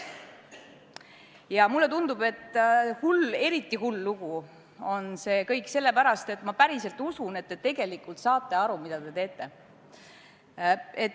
Ja mulle tundub, et eriti hull on see kõik sellepärast, et ma päriselt usun, et te tegelikult saate aru, mida te teete.